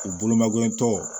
U bolo ma gɛlɛntɔ